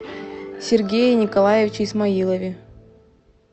сергее николаевиче исмаилове